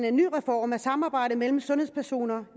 en reform af samarbejdet mellem sundhedspersoner